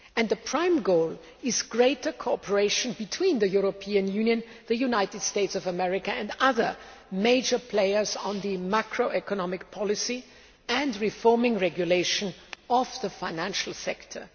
The prime goal is greater cooperation between the European Union, the United States and other major players on macroeconomic policy and reforming regulation of the financial sector.